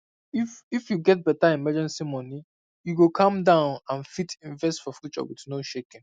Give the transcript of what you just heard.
if if you get better emergency money you go calm down and fit invest for future with no shaking